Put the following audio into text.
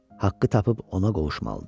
Haqqı tapıb ona qovuşmalıdır.